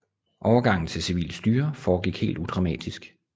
Overgangen til civilt styre foregik helt udramatisk